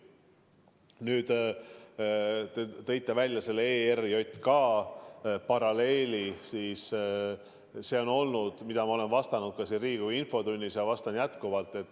Nüüd, te tõite välja selle ERJK paralleeli, mille kohta ma olen juba vastanud ka siin Riigikogu infotunnis ja vastan jätkuvalt.